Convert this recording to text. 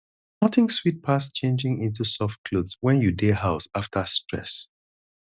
nothing sweet pass changing into soft clothes when you dey house after stress